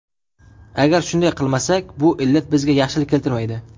Agar shunday qilmasak, bu illat bizga yaxshilik keltirmaydi.